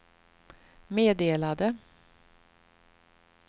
meddelade